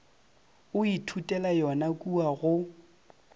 o ithutela yona kua go